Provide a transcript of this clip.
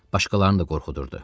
Başqalarını da qorxudurdu.